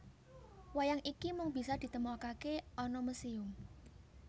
Wayang iki mung bisa ditemokakè ana musèum